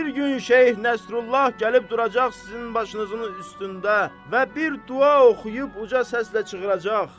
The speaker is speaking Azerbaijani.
Bir gün Şeyx Nəsrullah gəlib duracaq sizin başınızın üstündə və bir dua oxuyub uca səslə çığıracaq.